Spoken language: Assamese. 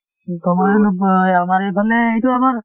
সময়ে নোপোৱা হয় । আমাৰ এইফালে এইটো আমাৰ